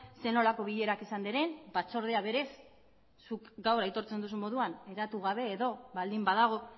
zer nolako bilerak izan diren batzordea berez zuk gaur aitortzen duzun moduan hedatu gabe edo baldin badago